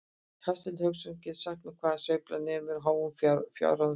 Hafsteinn Hauksson: Geturðu sagt mér hvað sveiflan nemur háum fjárhæðum þá?